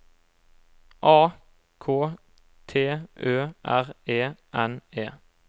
A K T Ø R E N E